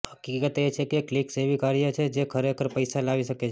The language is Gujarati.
હકીકત એ છે કે ક્લિક્સ એવી કાર્ય છે જે ખરેખર પૈસા લાવી શકે છે